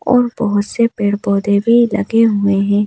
और बहुत से पेड़ पौधे भी लगे हुए हैं।